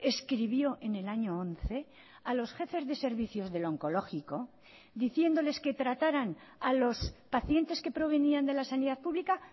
escribió en el año once a los jefes de servicios del oncológico diciéndoles que trataran a los pacientes que provenían de la sanidad pública